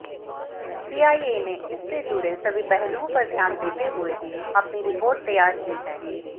CIA ने इससे जुड़े सभी पहलुओं पर ध्यान देते हुए अपनी रिपोर्ट तैयार की है